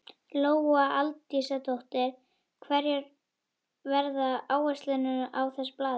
Lóa Aldísardóttir: Hverjar verða áherslurnar í þessu blaði?